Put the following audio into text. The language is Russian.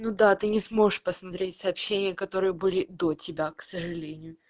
ну да ты не сможешь посмотреть сообщения которые были до тебя к сожалению